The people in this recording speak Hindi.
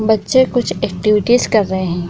बच्चे कुछ एक्टिविटीज कर रहे हैं।